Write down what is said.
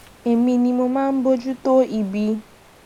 èmi ni mo máa ń bójú tó ibi